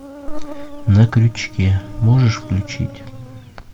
на крючке можешь включить